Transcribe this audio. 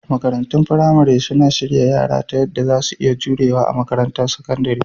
Makarantun firamare suna shirya yara ta yadda za su iya jurewa a makarantar sakandare